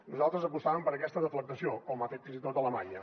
nosaltres apostàvem per aquesta deflactació com ha fet fins i tot alemanya